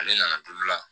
Ale nana toli la